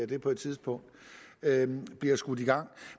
det på et tidspunkt bliver skudt i gang